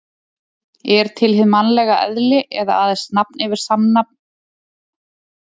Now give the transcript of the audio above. Er til hið mannlega eðli eða aðeins nafn yfir samsafn svipaðra manna?